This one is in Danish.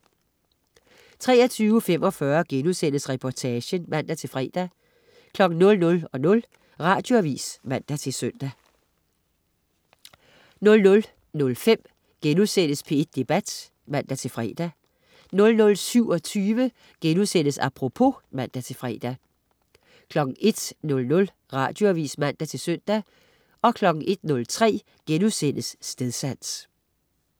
23.45 Reportagen* (man-fre) 00.00 Radioavis (man-søn) 00.05 P1 Debat* (man-fre) 00.27 Apropos* (man-fre) 01.00 Radioavis (man-søn) 01.03 Stedsans*